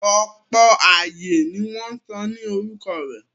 Ọ̀pọ̀ ààyè ni wọ́n sọ ní orúkọ rẹ̀.